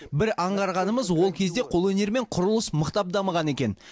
бір аңғарғанымыз ол кезде қолөнер мен құрылыс мықтап дамыған екен